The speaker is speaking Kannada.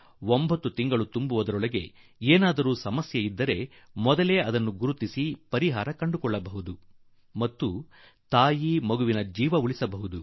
ಪ್ರಸವದ 9ನೇ ತಿಂಗಳು ಸಮೀಪಿಸಿದಂತೆ ಒಂದು ಪಕ್ಷ ಏನಾದರೂ ತೊಂದರೆ ಕಾಣಿಸಿಕೊಂಡರೆ ಅದನ್ನು ಮೊದಲೇ ಸರಿಪಡಿಸಿಕೊಳ್ಳಲು ಇದರಿಂದ ಸಾಧ್ಯವಾಗುತ್ತದೆ ಹಾಗೂ ತಾಯಿ ಮಗು ಇಬ್ಬರ ಪ್ರಾಣವನ್ನು ಉಳಿಸಿದಂತಾಗುತ್ತದೆ